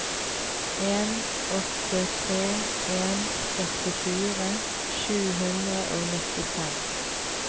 en åtte tre en førtifire sju hundre og nittifem